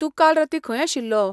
तूं काल रातीं खंय आशिल्लो?